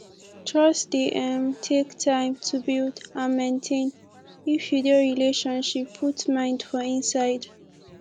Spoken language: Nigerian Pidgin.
trust dey um take time to build and maintain if you dey relationship put mind for inside